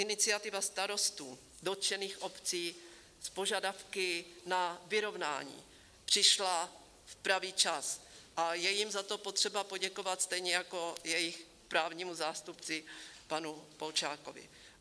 Iniciativa starostů dotčených obcí s požadavky na vyrovnání přišla v pravý čas a je jim za to potřeba poděkovat, stejně jako jejich právnímu zástupci panu Polčákovi.